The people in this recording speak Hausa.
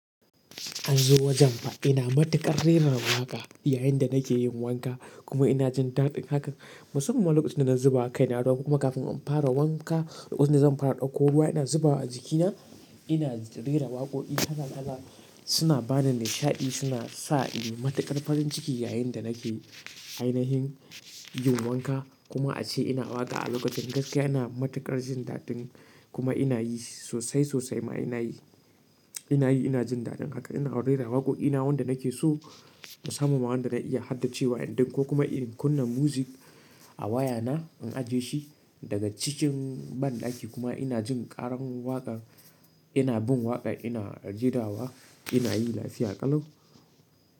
An zo wajen fa, ina matuƙar rera waƙa, yayin da nake yin wanka, kuma ina jin daɗin haka. Musamman ma lokacin da na zuba, kai na ruwa ko kuma kafin in fara wanka. Lokacin da zan fara ɗauko ruwa ina zubawa a jikina, ina rera waƙo'i kala-kala, suna bani nishaɗi suna sa ni matuƙar farin ciki yayin da nake ainihin yin wanka. Kuma ace ina waka a lokacin gaskiya ina matuƙar jin daɗin, kuma ina yi sosai-sosai ma ina yi, ina yi ina jin daɗin haka ina rera waƙo'i. Ina wanda nake so, musamman ma wanda na iya haddace wa, in dau ko kuma in kunna muzik a waya na, in ajiye shi, daga cikin, banɗaki kuma ina jin ƙaran waƙar, ina bun waƙar ina jeda wa ina yi, lafiya kalau.